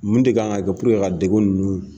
Mun de kan ka kɛ ka deku nunnu